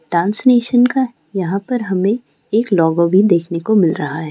Dance nation का यहाँ पर हमें एक लोगो भी देखनो को मिल रहा है।